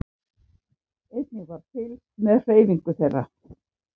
Einnig var fylgst með hreyfingu þeirra